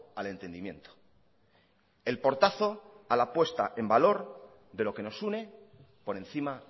al entendimiento el portazo a la puesta en valor de lo que nos une por encima